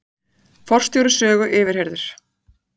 Forstjóri Sögu yfirheyrður